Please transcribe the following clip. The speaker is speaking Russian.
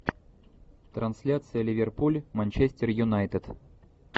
трансляция ливерпуль манчестер юнайтед